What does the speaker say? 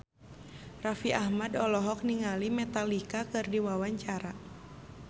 Raffi Ahmad olohok ningali Metallica keur diwawancara